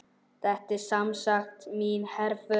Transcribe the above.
Þetta er semsagt mín herför.